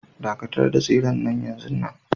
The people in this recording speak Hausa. Dakatar da tseren nan yanzun nan